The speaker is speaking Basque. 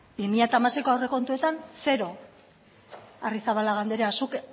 bi mila hamaseiko aurrekontuetan zero arrizabalaga anderea zuk